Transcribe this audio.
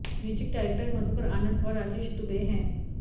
music director Madhukar Anand और राजेश दुबे हैं